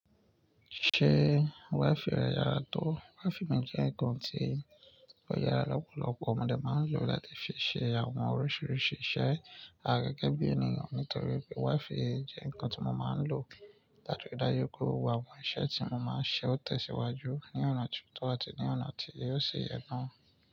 Ṣé wifi rẹ yàrá tó? Wigi mi jẹ́ nǹkan tí ó yára lọ́pọ̀lọpọ̀. Òun mo dé máa ń lo láti fi ṣe àwọn oríṣiríṣi iṣẹ́. Àgàgà bí ènìyàn, nítorí pé wifi jẹ́ nǹkan tí mo máa ń lò láti rí dájú wípé àwọn iṣẹ́ tí mo máa ń ṣe ó tẹ̀síwájú ní ọ̀nà tí ó tó àti ní ọ̀nà tí yóò sì yẹ́ na.